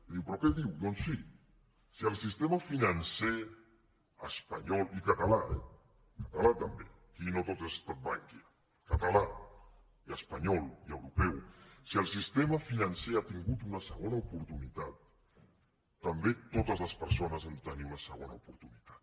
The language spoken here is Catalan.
i diu però què diu doncs sí si el sistema financer espanyol i català eh català també aquí no tot ha estat bankia i català i espanyol i europeu si el sistema financer ha tingut una segona oportunitat també totes les persones han de tenir una segona oportunitat